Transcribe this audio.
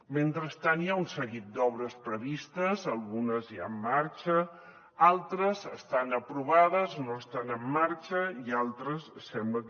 mentrestant hi ha un seguit d’obres pre vistes algunes ja en marxa altres estan aprovades no estan en marxa i altres sembla que